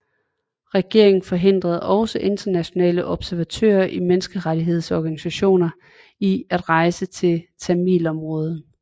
Regeringen forhindrede også internationale observatører og menneskerettighedsorganisationer i at rejse til tamilområderne